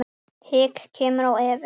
Hik kemur á Evu.